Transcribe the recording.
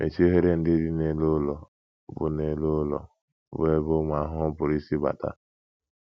Mechie oghere ndị dị n’elu ụlọ bụ́ n’elu ụlọ bụ́ ebe ụmụ ahụhụ pụrụ isi bata.